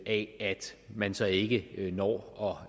at man så ikke når